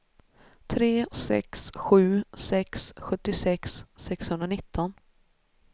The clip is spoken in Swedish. tre sex sju sex sjuttiosex sexhundranitton